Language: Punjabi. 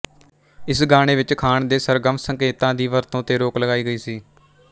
ਇਸ ਗਾਣੇ ਵਿਚ ਖਾਨ ਦੇ ਸਰਗਮ ਸੰਕੇਤਾਂ ਦੀ ਵਰਤੋਂ ਤੇ ਰੋਕ ਲਗਾਈ ਗਈ ਸੀ